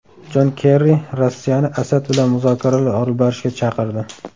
Jon Kerri Rossiyani Asad bilan muzokaralar olib borishga chaqirdi.